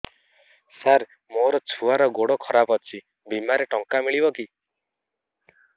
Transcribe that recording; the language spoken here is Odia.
ସାର ମୋର ଛୁଆର ଗୋଡ ଖରାପ ଅଛି ବିମାରେ ଟଙ୍କା ମିଳିବ କି